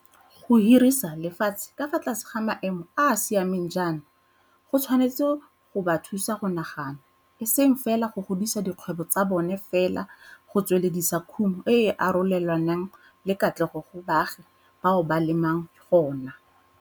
Go hirisa lefatshe ka fa tlase ga maemo a a siameng jaana go tshwanetse go ba thusa go nagana, eseng fela go godisa dikgwebo tsa bona fela go tsweledisa khumo e e arole lwanang le katlego go baagi bao ba lemang gona.